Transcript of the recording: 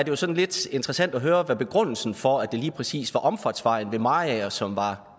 jo sådan lidt interessant at høre hvad begrundelsen var for at det lige præcis var omfartsvejen ved mariager som var